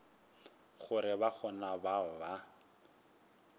gore ba gona bao ba